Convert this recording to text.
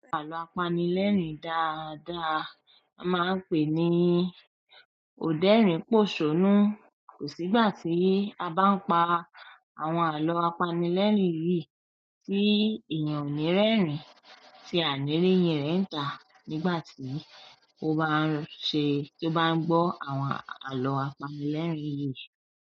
Àlọ́ apanilẹ́rìn dáadáa a máa ń pè ní "òdẹ́rìn pòṣónú." Kò sígbà tí a bá ń pa àwọn àlọ́ apanilẹ́rìn yìí tí èèyàn ò ní rẹ́rìn-ín tí à nì reyìn rẹ̀ ń tà nígbà tí ó bá ń ṣe tó bá ń gbọ́ àwọn àlọ́ apanilẹ́rìn yìí.